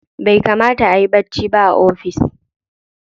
Bai kamata ayi bacci ba a ofis.